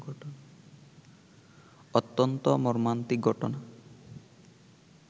অত্যন্ত মর্মান্তিক ঘটনা